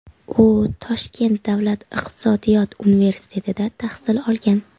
U Toshkent davlat iqtisodiyot universitetida tahsil olgan.